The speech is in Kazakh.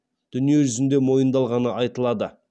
дүние жүзінде мойындалғаны айтылады